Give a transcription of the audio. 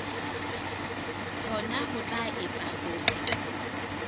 hona ho tla etsa hore